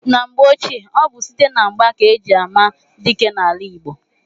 Na mgbe ochie, ọ bụ site na mgba ka eji ama dike n'ala Igbo.